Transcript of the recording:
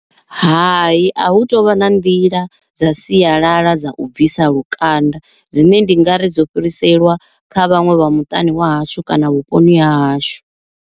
Hai a hu tovha na nḓila dza sialala dza u bvisa lukanda, dzine ndi ngari dzo fhiriselwa kha vhaṅwe vha muṱani wa hashu kana vhuponi ha hashu.